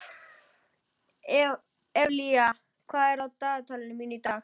Evlalía, hvað er á dagatalinu mínu í dag?